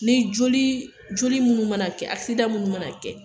Ni joli, joli munnu mana kɛ munnu mana kɛ.